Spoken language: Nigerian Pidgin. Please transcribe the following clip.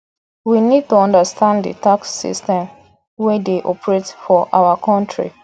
we need to understand di tax system wey dey operate for our country